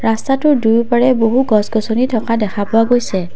ৰাস্তাটোৰ দুয়োপাৰে বহু গছ-গছনি থকা দেখা পোৱা গৈছে।